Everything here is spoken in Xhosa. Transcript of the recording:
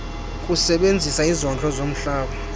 kusebenzisa izondlo zomhlaba